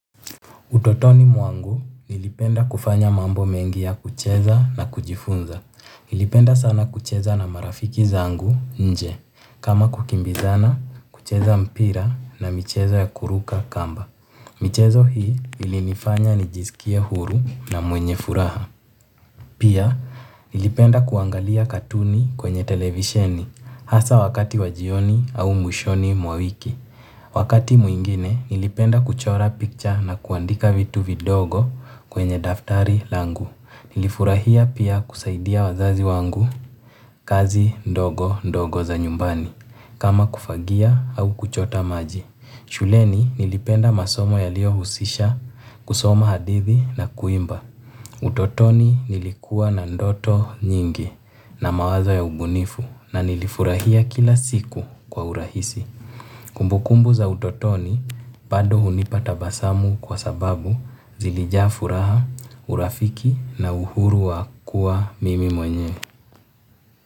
Utotoni mwangu nilipenda kufanya mambo mengi ya kucheza na kujifunza. Nilipenda sana kucheza na marafiki zangu nje. Kama kukimbizana kucheza mpira na michezo ya kuruka kamba michezo hii ilinifanya nijiskie huru na mwenye furaha. Pia nilipenda kuangalia katuni kwenye televisheni hasa wakati wa jioni au mwishoni mwa wiki. Wakati mwingine nilipenda kuchora picture na kuandika vitu vidogo kwenye daftari langu. Nilifurahia pia kusaidia wazazi wangu kazi ndogo ndogo za nyumbani kama kufagia au kuchota maji. Shuleni nilipenda masomo yaliohusisha kusoma hadithi na kuimba. Utotoni nilikuwa na ndoto nyingi na mawazo ya ubunifu na nilifurahia kila siku kwa urahisi. Kumbukumbu za utotoni, pado hunipa tabasamu kwa sababu zilijaa furaha, urafiki na uhuru wa kuwa mimi mwenye.